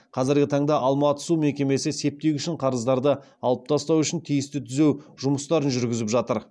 қазіргі таңда алматы су мекемесі септик үшін қарыздарды алып тастау үшін тиісті түзеу жұмыстарын жүргізіп жатыр